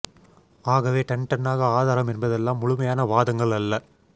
ஆகவே டன் டன்னாக ஆதாரம் என்பதெல்லாம் முழுமையான வாதங்கள் அல்ல